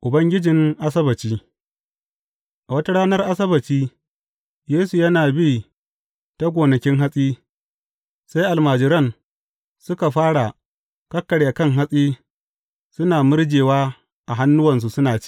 Ubangijin Asabbaci A wata ranar Asabbaci, Yesu yana bi ta gonakin hatsi, sai almajiran suka fara kakkarya kan hatsi suna murjewa a hannuwansu suna ci.